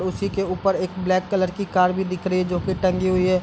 उसी के ऊपर एक ब्लैक कलर की कार भी दिख रही है जो कि टंगी हुई है।